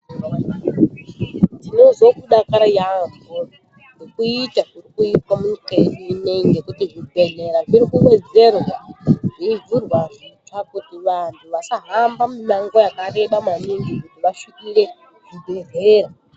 Ndinozwe kudakara yaampho, ngekuita, kuri kuitwa munyika yedu ineyi, ngekuti zvibhedhlera zviri kuwedzerwa, zveivhurwa kuitira kuti vanthu vasahambe mimango yakareba maningi kuti vasvikire zvibhedhlera.